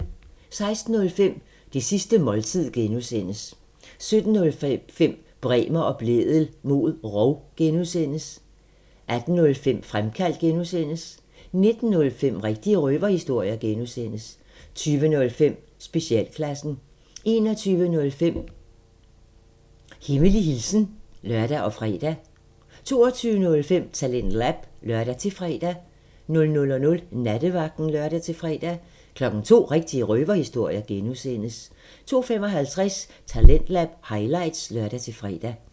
16:05: Det sidste måltid (G) 17:05: Bremer og Blædel mod rov (G) 18:05: Fremkaldt (G) 19:05: Rigtige røverhistorier (G) 20:05: Specialklassen 21:05: Hemmelig hilsen (lør og fre) 22:05: TalentLab (lør-fre) 00:00: Nattevagten (lør-fre) 02:00: Rigtige røverhistorier (G) 02:55: Talentlab highlights (lør-fre)